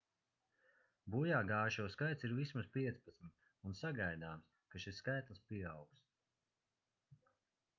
bojāgājušo skaits ir vismaz 15 un sagaidāms ka šis skaitlis pieaugs